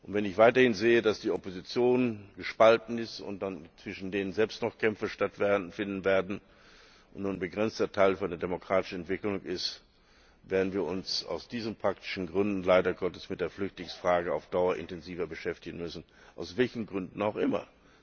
Wenn ich weiterhin sehe, dass die Opposition gespalten ist, zwischen diesen Gruppen selbst noch Kämpfe stattfinden werden und nur ein begrenzter Teil für eine demokratische Entwicklung ist, werden wir uns aus diesen praktischen Gründen leider Gottes mit der Flüchtlingsfrage auf Dauer intensiver beschäftigen müssen, aus welchen Gründen auch immer.